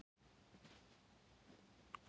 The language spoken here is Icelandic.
Jórunni, en hún jafnan forðast hann.